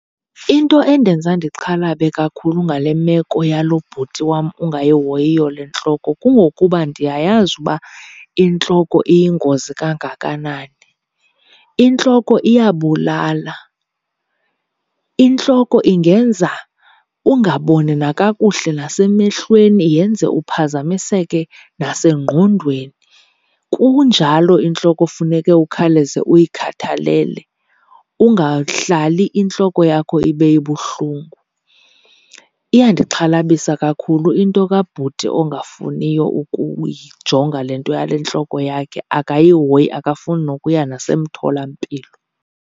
Into endenza ndixhalabe kakhulu ngale meko yalo bhuti wam ungayihoyiyo le ntloko kungokuba ndiyayazi uba intloko iyingozi kangakanani. Intloko iyabulala, intloko ingenza ungaboni nakakuhle nasemehlweni, yenze uphazamiseke nasengqondweni. Kunjalo intloko funeke ukhawuleze uyikhathalele, ungahlali intloko yakho ibe ibuhlungu. Iyandixhalabisa kakhulu into kabhuti ongafuniyo ukuyijonga le nto yale ntloko yakhe. Akayihoyi, akafuni nokuya nasemtholampilo.